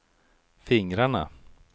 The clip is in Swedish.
fingrarna